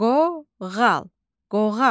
Qoğal, qoğal.